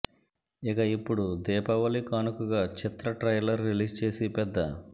ఇక ఇప్పుడు దీపావళి కానుకగా చిత్ర ట్రైలర్ రిలీజ్ చేసి పెద్ద